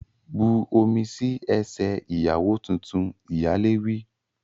Bu omi sí ẹsẹ̀ ìyàwó tuntun! Ìyálé wí.